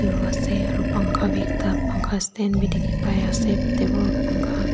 ase aro pankha bi ekta phankha stand bi dikhipaiase table buka--